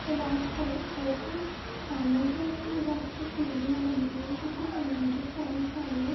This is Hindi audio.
जो लास्ट फ़ोल फ्लोर पर सामने के वेस्ट में बहुत अच्छी सीढ़ियाँ बनी है जो की सेमांटिक टाइल्स वाली है।